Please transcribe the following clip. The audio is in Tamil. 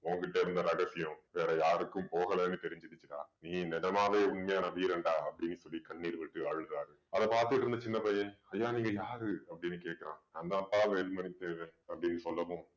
உன்கிட்ட இருந்த ரகசியம் வேற யாருக்கும் போகலைன்னு தெரிஞ்சுக்கிச்சுன்னா நீ நிஜமாவே உண்மையான வீரன்டா அப்படின்னு சொல்லி கண்ணீர் விட்டு அழுதாரு அத பார்த்துட்டு இருந்த சின்னப் பையன் ஐயா நீங்க யாரு அப்படின்னு கேட்கிறான் நான்தான்ப்பா வேலுமணி தேவர் அப்படின்னு சொல்லவும்